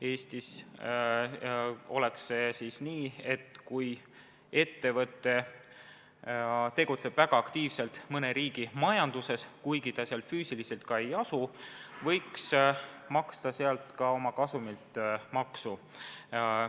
Eestis oleks see siis nii, et kui ettevõte tegutseb väga aktiivselt mõne riigi majanduses – kuigi ta seal füüsiliselt ei pruugi asuda –, siis võiks ta seal oma kasumilt maksu maksta.